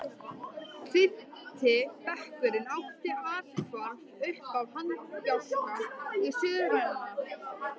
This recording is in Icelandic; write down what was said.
Fimmti bekkur átti athvarf uppá hanabjálka í suðurenda